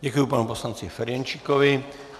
Děkuji panu poslanci Ferjenčíkovi.